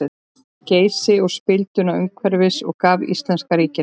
Geysi og spilduna umhverfis og gaf íslenska ríkinu.